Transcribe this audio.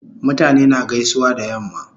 Mutane na gaisuwa da yamma